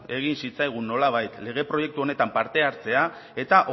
egin zitzaigun nolabait lege proiektu honetan parte hartzea eta